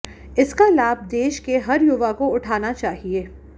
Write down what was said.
इसका लाभ देश के हर युवा को उठाना चाहिए